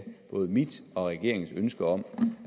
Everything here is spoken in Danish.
både mit og regeringens ønske om